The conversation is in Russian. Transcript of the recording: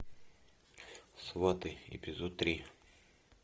сваты эпизод три